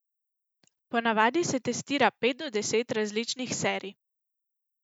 Ponavadi se testira pet do deset različnih serij.